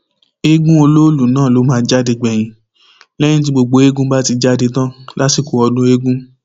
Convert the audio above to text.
ẹẹgún olóòlù náà ló máa ń jáde gbẹyìn lẹyìn tí gbogbo eegun bá jáde tán lásìkò ọdún eegun